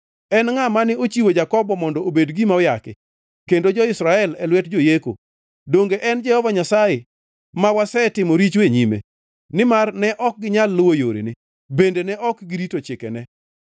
En ngʼa mane ochiwo Jakobo mondo obed gima oyaki, kendo jo-Israel e lwet joyeko? Donge en Jehova Nyasaye ma wasetimo richo e nyime? Nimar ne ok ginyal luwo yorene; bende ne ok girito chikene.